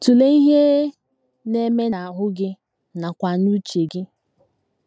Tụlee ihe na - eme n’ahụ́ gị nakwa n’uche gị.